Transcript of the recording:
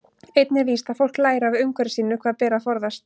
Einnig er víst að fólk lærir af umhverfi sínu hvað beri að forðast.